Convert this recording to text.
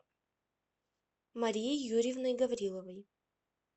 марией юрьевной гавриловой